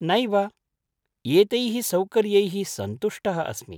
नैव। एतैः सौकर्य्यैः सन्तुष्टः अस्मि।